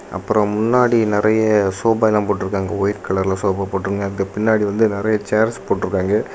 அப்பரோ முன்னாடி நெறைய சோபா எல்லா போட்டுருக்காங்க வைட் கலர்ல சோஃபா போட்டுருக்காங்க அதுக்கு பின்னாடி வந்து நெறைய சேர்ஸ் போட்டுருக்காங்க.